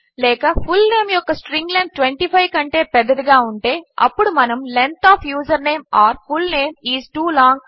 లేక ఫుల్నేమ్ యొక్క string length 25 కంటే పెద్దదిగా ఉంటే అప్పుడు మనము length of username or full name is too long